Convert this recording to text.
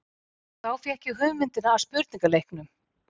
Og þá fékk ég hugmyndina að spurningaleiknum.